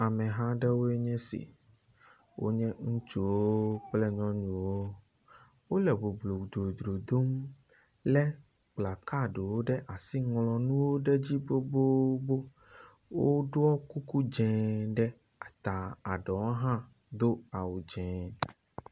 Ameha aɖewo nye esi wonye ŋutsuwo kple nyɔnuwo, wole boblodzodom lé plakaɖiwo ɖe asi ŋlɔ nuwo ɖe edzi gbogbogbo. Woɖɔ kuku dzẽ ɖe eta, eɖewo hã do awu dzɛ̃.